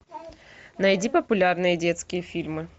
найди популярные детские фильмы